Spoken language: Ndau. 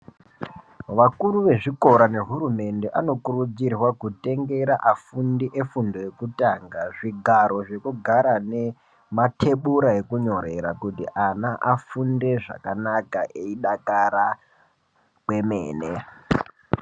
Wakuru wezvikora nehurumende anokurudzirwa kutengera afundi efundo yekutanga zvigaro zvekugara nematebura ekunyorera kuti ana afunde zvakanaka eidakara kwemene.